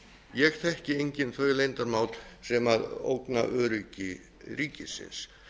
ég þekki engin þau leyndarmál sem ógna öryggi ríkisins